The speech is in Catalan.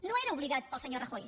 no estava obligat pel senyor rajoy